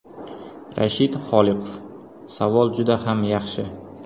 Rashid Xoliqov: Savol juda ham yaxshi.